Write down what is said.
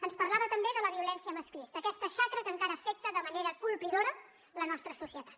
ens parlava també de la violència masclista aquesta xacra que encara afecta de manera colpidora la nostra societat